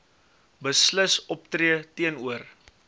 beslis optree teenoor